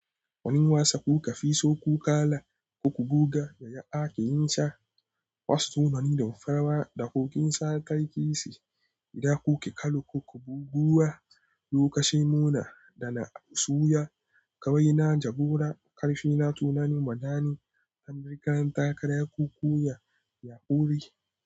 Wani wasa kuka fi so ku kala, ku buga yaya ake yin sa, wasu sunan da farawa da kogin Sakaki ce. Ida kuke kallo, ku buguwa lokacin muna da na suya kawai na jagora. Karfi na tunani, madani, Amurka, takara, kukuya, Yakori.